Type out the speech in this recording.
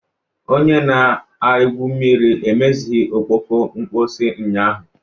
Onye na-egwu mmiri emeghịzi ọkpọkọ mposi ụnyaahụ